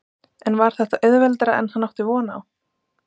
En var þetta auðveldara en hann átti von á?